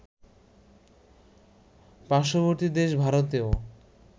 পার্শ্ববর্তী দেশ ভারতেও